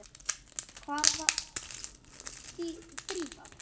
Hvar var Drífa?